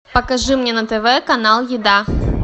покажи мне на тв канал еда